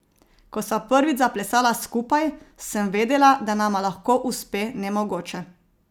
Ko sva prvič zaplesala skupaj, sem vedela, da nama lahko uspe nemogoče.